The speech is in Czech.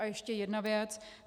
A ještě jedna věc.